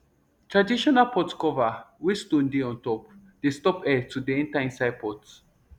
traditional pot cover wey stone dey untop dey stop air to dey enter inside pot